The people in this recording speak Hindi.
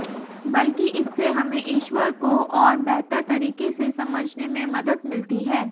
बल्कि इससे हमें ईश्वर को और बेहतर तरीके से समझने में मदद मिलती है